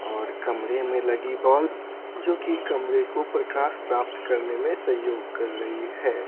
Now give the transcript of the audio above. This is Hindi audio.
और कमरे में लगी बल्ब जो कि कमरे को प्रकाश प्राप्त करने में सहयोग कर रही है।